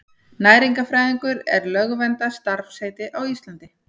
Næringarfræðingur er lögverndað starfsheiti á Íslandi.